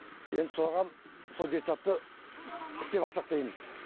енді соған сол детсадты істеп алсақ дейміз